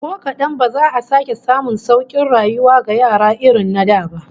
Ko kadan ba za a sake samun saukin rayuwa ga yara irin na da ba